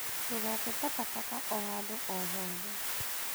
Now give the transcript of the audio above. Ndũgate takataka o handũ o hothe